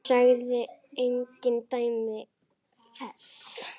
Sagði engin dæmi þess.